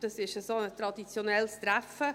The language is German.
Das ist so ein traditionelles Treffen.